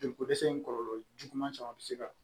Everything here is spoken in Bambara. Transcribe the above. Joliko dɛsɛ in kɔlɔlɔ juguman caman be se ka